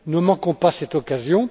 Ne manquons pas cette occasion!